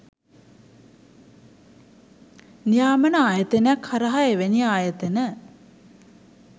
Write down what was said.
නියාමන ආයතනයක් හරහා එවැනි ආයතන